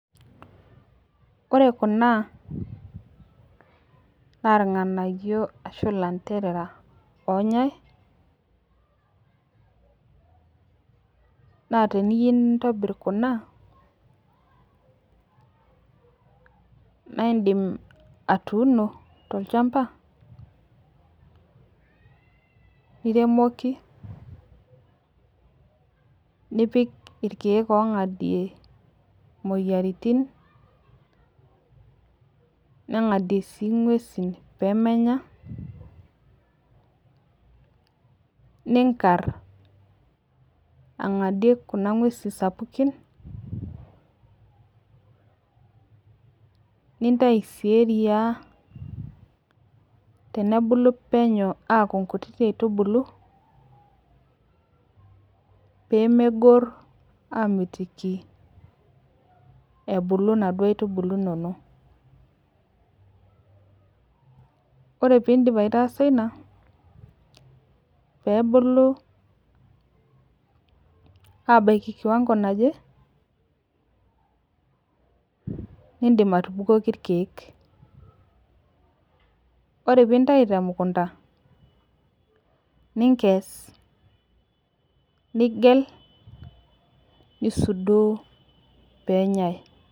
ore kuna naa iranganayio arashu lanterera oonyai naa teniyeu nintobir kuna na indim atuuno to lchamba nipik irkeek ongadie imoyaritin ningadie sii ngwesin peemenya ninkar angadie kuna ngwesin sapukin, nintayu sii eriya tenebulu penyu aaku nkuti aitubulu pemegor aamitiki ebulu naduo aitubulu inoolong, ore piindip aitaasa inia, peebulu abaiki kiwango naje indim atubukoki irkeek, ore piintayu temukunta ninges nigel nisudoo peenyai